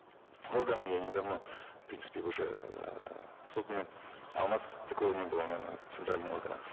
органы и они давно в принципе уже эээ созданы а у нас такого не было наверно центрального органа